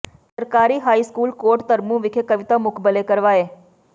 ਸਰਕਾਰੀ high school Kot Dharmu ਵਿਖੇ ਕਵਿਤਾ ਮੁਕਬਲੇ ਕਰਵਾਏ